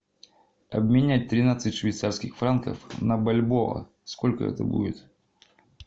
обменять тринадцать швейцарских франков на бальбоа сколько это будет